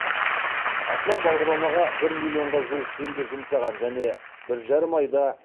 аслан бағдарламаға бір миллионға жуық теңге жұмсаған және бір жарым айда